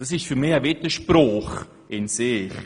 Dieses ist für mich ein Widerspruch in sich.